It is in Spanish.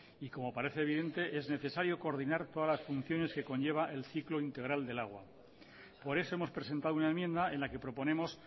y como parece evidente es necesario coordinar todas las funciones que conlleva el ciclo integral del agua por eso hemos presentado una enmienda en la que proponemos